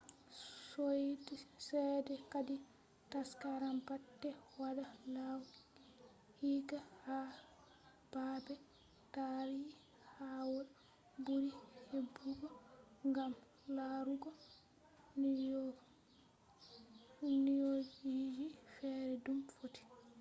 soide chede hadi taskaram baate wada laaw hikka ha baabe taarihawol buri hebugo gam laruugo nyaujiji fere dum futti